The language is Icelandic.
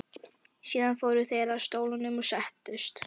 Síðan fóru þeir að stólunum og settust.